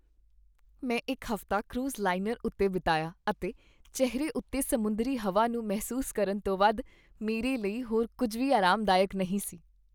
ਮੈਂ ਇੱਕ ਹਫ਼ਤਾ ਕਰੂਜ਼ ਲਾਈਨਰ ਉੱਤੇ ਬਿਤਾਇਆ, ਅਤੇ ਚਿਹਰੇ ਉੱਤੇ ਸਮੁੰਦਰੀ ਹਵਾ ਨੂੰ ਮਹਿਸੂਸ ਕਰਨ ਤੋਂ ਵੱਧ ਮੇਰੇ ਲਈ ਹੋਰ ਕੁੱਝ ਵੀ ਅਰਾਮਦਾਇਕ ਨਹੀਂ ਸੀ।